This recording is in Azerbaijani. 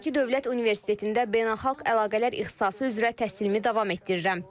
Bakı Dövlət Universitetində beynəlxalq əlaqələr ixtisası üzrə təhsilimi davam etdirirəm.